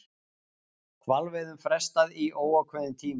Hvalveiðum frestað í óákveðinn tíma